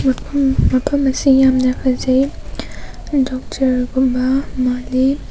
ꯃꯐꯝ ꯃꯐꯝ ꯑꯁꯤ ꯌꯥꯝꯅ ꯐꯖꯩ ꯗꯥꯛꯇꯔ ꯒꯨꯝꯕ ꯃꯜꯂꯤ꯫